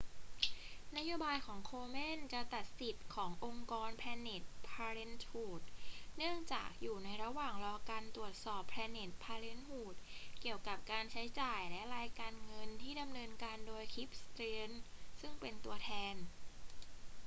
นโยบายของ komen จะตัดสิทธิ์ขององค์กร planned parenthood เนื่องจากอยู่ในระหว่างรอการตรวจสอบ planned parenthood เกี่ยวกับการใช้จ่ายและรายงานการเงินที่ดำเนินการโดย cliff stearns ซึ่งเป็นตัวแทน